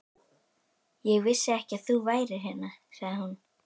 Ég vissi ekki að þú værir hérna sagði hún.